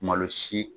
Malo si